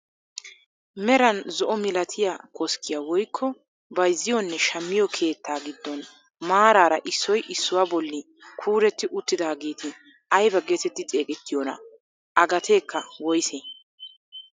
Meran zo'o milatiyaa koskkiyaa woykko bayzziyoonne shammiyoo keettaa giddon maarara issoy issuwaa bolli kuuretti uttidaageti aybaa getetti xegettiyoonaa? a gateekka woysee?